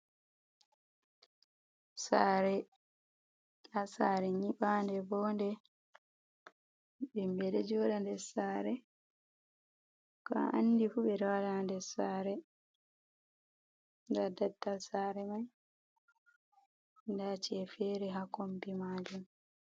Sare, nda sare nyiɓande vode, himɓe ɗo joɗa ndessare ko andifu beɗo waɗa ha nder sare, nda daldal sare man, nda ci'efere ha kombi majum.